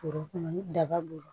Foro kɔnɔ ni daba b'o la